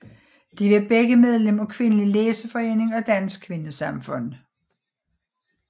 De var begge medlem af Kvindelig Læseforening og Dansk Kvindesamfund